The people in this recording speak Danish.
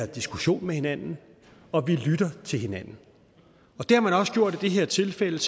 diskuterer med hinanden og vi lytter til hinanden det har man også gjort i det her tilfælde